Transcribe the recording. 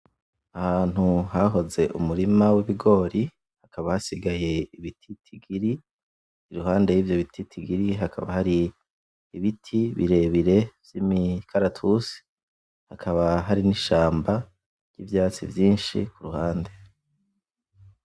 Ahantu hahoze umurima w’ibigori, hakaba hasigaye ibititigiri, iruhande y’ivyo bititigiri hakaba hari ibiti birebire vy’imikaratusi, hakaba hari n’ishamba ry’ivyatsi vyinshi ku ruhande.